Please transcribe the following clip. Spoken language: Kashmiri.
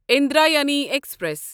اندرایانی ایکسپریس